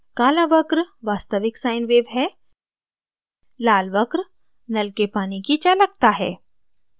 काला वक्र वास्तविक sine wave है लाल वक्र नल के पानी की चालकता है